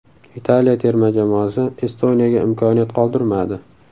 Italiya terma jamoasi Estoniyaga imkoniyat qoldirmadi.